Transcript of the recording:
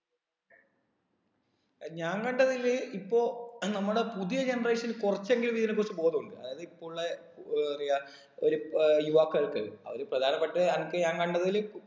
ഏർ ഞാൻ കണ്ടതില് ഇപ്പൊ നമ്മുടെ പുതിയ generation കുറച്ചെങ്കിലും ഇതിനെ കുറിച്ച് ബോധം ഉണ്ട് അതായത് ഇപ്പൊ ഉള്ളെ ഏർ പറയാ ഒരു ഏർ യുവാക്കള്‍ക്ക് അവര് പ്രധാനപ്പെട്ട അനക്ക് ഞാൻ കണ്ടതിൽ